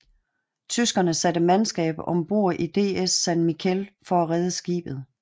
Tyskerne satte mandskab om bord i DS San Miguel for at redde skibet